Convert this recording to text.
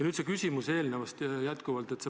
Nüüd see eelnevast tulenev küsimus jätkuvalt.